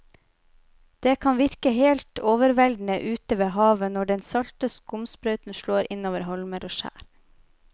Det kan virke helt overveldende ute ved havet når den salte skumsprøyten slår innover holmer og skjær.